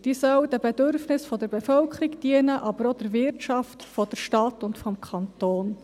Sie soll den Bedürfnissen der Bevölkerung dienen, aber auch der Wirtschaft der Stadt und des Kantons.